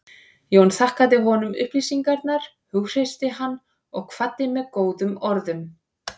Jón þakkaði honum upplýsingarnar, hughreysti hann og kvaddi með góðum orðum.